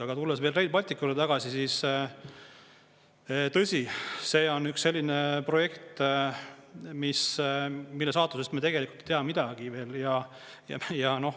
Aga tulles veel Rail Balticu juurde tagasi, siis tõsi, see on üks selline projekt, mille saatusest me tegelikult ei tea midagi veel.